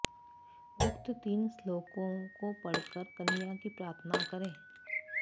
उक्त तीन श्लोकों को पढ़कर कन्या की प्रार्थना करे